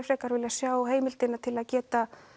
frekar vilja sjá heimildina til að geta